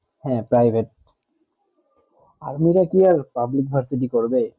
হেঁ private army রা কি আর public varsity করবে